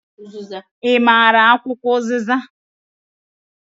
I maara akwụkwọ uziza?